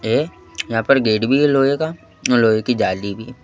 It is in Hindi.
ये यहां पर गेट भी है लोहे का और लोहे की जाली भी--